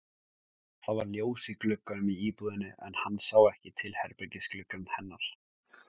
Það var ljós í gluggunum í íbúðinni en hann sá ekki herbergisgluggann hennar.